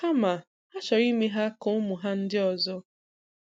Kama ha chọrọ ime ha ka ụmụ ha ndị ọzọ.